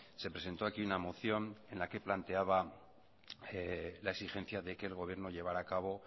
se presentó aquí una moción en la que planteaba la exigencia de que el gobierno llevará a cabo